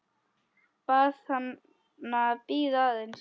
Bað hana að bíða aðeins.